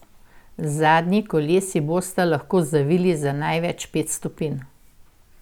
Zadnji kolesi bosta lahko zavili za največ pet stopinj.